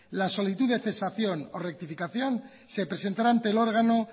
la solicitud de cesación o rectificación se presentará ante el órgano